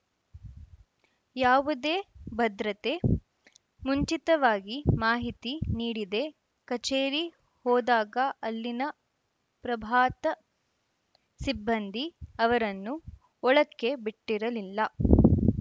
ಯಾವುದೇ ಭದ್ರತೆ ಮುಂಚಿತವಾಗಿ ಮಾಹಿತಿ ನೀಡಿದೇ ಕಚೇರಿ ಹೋದಾಗ ಅಲ್ಲಿನ ಪ್ರಭಾತ ಸಿಬ್ಬಂದಿ ಅವರನ್ನು ಒಳಕ್ಕೆ ಬಿಟ್ಟಿರಲಿಲ್ಲ